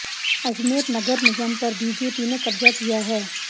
अजमेर नगर निगम पर बीजेपी ने कब्जा किया है